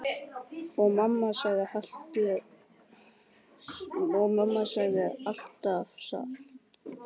Og mamma sagði alltaf satt.